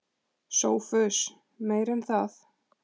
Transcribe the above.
SOPHUS: Meira en það.